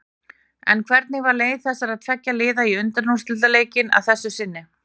En hvernig var leið þessara tveggja liða í úrslitaleikinn að þessu sinni?